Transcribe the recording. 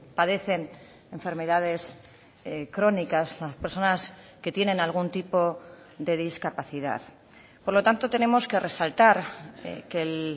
padecen enfermedades crónicas personas que tienen algún tipo de discapacidad por lo tanto tenemos que resaltar que el